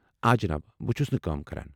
آ، جِناب ۔ بہٕ چُھس نہٕ کٲم کران۔